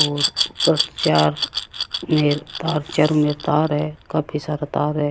और ऊपर चार ले चारों मेर तार है काफी सारा तार है।